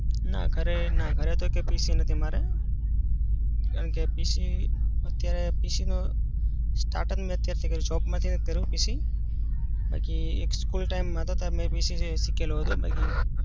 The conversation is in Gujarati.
ના. ઘરે ના. ઘરે તો એકય PC નથી મારે. કારણકે PC અત્યારે PC નો start જ મેં અત્યારેથી કર્યું shape માં થી ને જ કર્યું PC. બાકી એક school time માં હતો ત્યારે મેં PC શિકેલું હતું બાકી